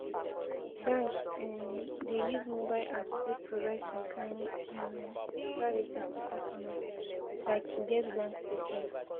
Banks um dey use mobile apps take provide some kimd um services to customers like to get bank statement